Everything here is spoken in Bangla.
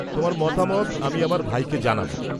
তোমার মতামত আমি আমার ভাইকে জানাব।